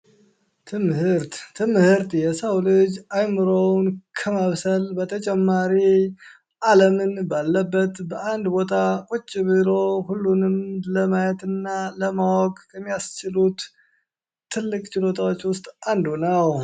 ትምህርት ትምህርት የሰው ልጅ አዕምሮውን ከማብሰል በተጨማሪ አለምን በአለበት በአንድ ቦታ ቁጭ ብሎ ለማየት ሁሉንምእና ለማወቅ ከሚያስችሉት ትልቅ ችሎታዎች ውስጥ አንዱ ነው።